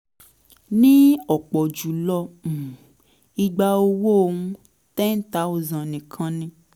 ní ọ̀pọ̀ jù lọ um ìgbà owó n10000 nìkan ni